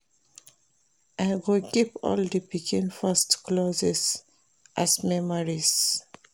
I go keep all di pikin first clothes, as memories.